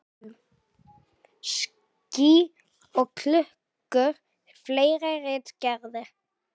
Ský og klukkur og fleiri ritgerðir.